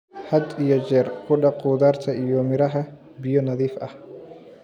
Had iyo jeer ku dhaq khudaarta iyo miraha biyo nadiif ah.